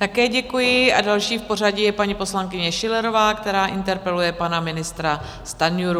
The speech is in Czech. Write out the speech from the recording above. Také děkuji a další v pořadí je paní poslankyně Schillerová, která interpeluje pana ministra Stanjuru.